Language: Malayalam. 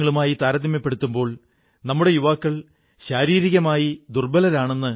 ബുദ്ധിമുട്ടിന്റെ സമയത്ത് ഇവരെല്ലാം നിങ്ങളുടെ കൂടെയുണ്ടായിരുന്നു നമ്മുടെയെല്ലാം കൂടെയുണ്ടായിരുന്നു